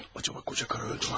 Acaba koca karı öldü mü?